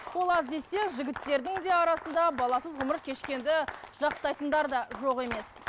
ол аз десе жігіттердің де арасында баласыз ғұмыр кешкенді жақтайтындар да жоқ емес